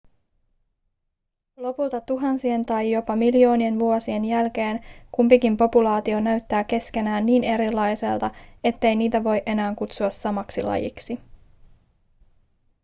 lopulta tuhansien tai jopa miljoonien vuosien jälkeen kumpikin populaatio näyttää keskenään niin erilaiselta ettei niitä voi enää kutsua samaksi lajiksi